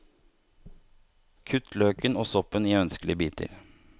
Kutt løken og soppen i ønskelige biter.